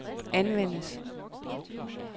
anvendes